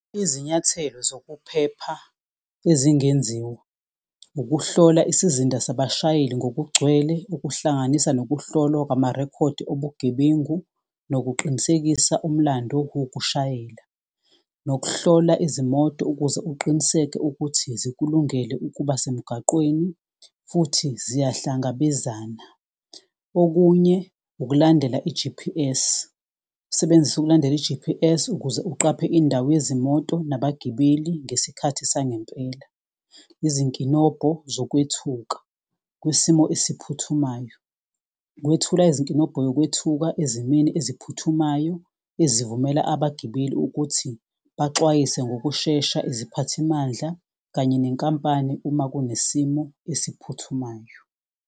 Izinyathelo zokuphepha ezingenziwa, ukuhlola isizinda sabashayeli ngokugcwele. Okuhlanganisa nokuhlolwa kwamarekhodi obugebengu nokuqinisekisa umlando wokushayela. Nokuhlola izimoto ukuze uqiniseke ukuthi zikulungele ukuba semgaqweni futhi ziyahlangabezana. Okunye ukulandela i-G_P_S, usebenzise ukulandela i-G_P_S. Ukuze uqaphe indawo yezimoto nabagibeli ngesikhathi sangempela. Izinkinobho zokwethuka kwisimo esiphuthumayo, ukwethula izinkinobho yokwethuka ezimeni eziphuthumayo. Ezivumela abagibeli ukuthi baxwayise ngokushesha iziphathimandla. Kanye nenkampani uma kunesimo esiphuthumayo.